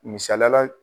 Misaliyala